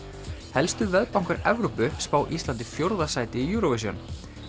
helstu Evrópu spá Íslandi fjórða sæti í Eurovision